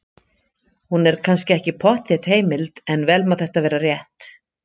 Hún er kannski ekki pottþétt heimild, en vel má þetta vera rétt.